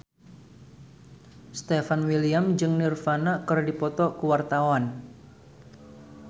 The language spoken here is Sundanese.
Stefan William jeung Nirvana keur dipoto ku wartawan